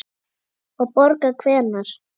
Og borga hvenær?